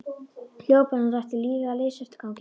Hljóp eins og hann ætti lífið að leysa eftir ganginum.